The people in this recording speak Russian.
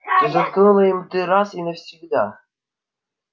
ты заткнул им рты раз и навсегда